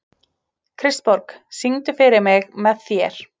Kristborg, syngdu fyrir mig „Með þér“.